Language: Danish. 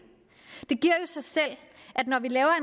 at når vi laver